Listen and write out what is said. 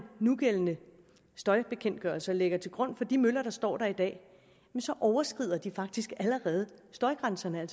nugældende støjbekendtgørelse og lægger til grund for de møller der står der i dag så overskrider de faktisk allerede støjgrænserne